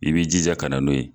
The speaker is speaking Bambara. I b'i jija ka na n'o ye.